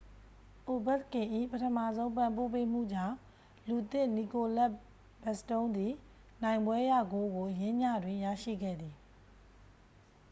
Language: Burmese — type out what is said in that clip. အိုဗက်ကင်၏ ပထမဆုံး ပံ့ပိုးပေးမှုကြောင့် လူသစ် နီကိုလက် ဘက်စတုန်းသည် နိုင်ပွဲရဂိုးကို ယင်းညတွင် ရရှိခဲ့သည်